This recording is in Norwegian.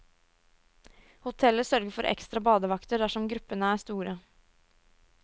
Hotellet sørger for ekstra badevakter dersom gruppene er store.